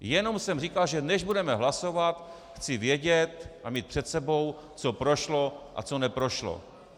Jenom jsem říkal, že než budeme hlasovat, chci vědět a mít před sebou, co prošlo a co neprošlo.